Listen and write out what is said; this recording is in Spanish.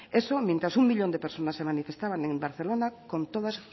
eso mientras uno millón de personas se manifestaba en barcelona con todas